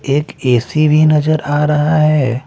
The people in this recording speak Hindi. एक ए_सी भी नजर आ रहा हैं ।